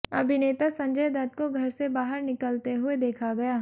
अभिनेता संजय दत्त को घर से बाहर निकलते हुए देखा गया